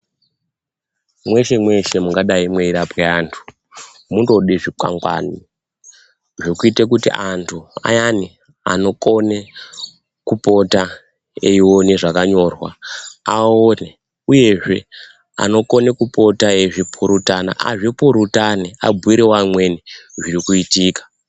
Mweshe-mweshe mungadai mweirapwe antu munode zvikwangwani, zvekuita kuti antu ayani anokone kupota eione zvakanyorwa, aone uyezve anokone kupota eizvi purutana azvipurutane abhuiravwo amweni zvirikitika.